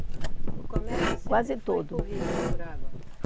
O comércio sempre foi por rio, por água? Quase todo.